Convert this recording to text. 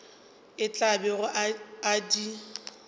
a tla bego a di